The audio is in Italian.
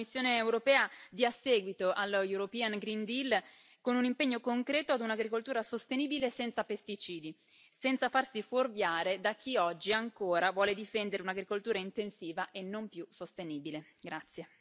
Io mi auguro che la Commissione europea dia seguito allo European Green Deal con un impegno concreto ad un'agricoltura sostenibile senza pesticidi, senza farsi fuorviare da chi oggi ancora vuole difendere un'agricoltura intensiva e non più sostenibile.